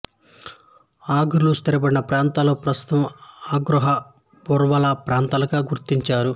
అగ్రాలు స్థిరపడిన ప్రాంతాలు ప్రస్తుతం అగ్రోహ బర్వాలా ప్రాంతాలుగా గుర్తించారు